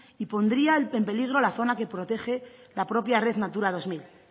y pondría en peligro la zona que protege la propia red natura dos mil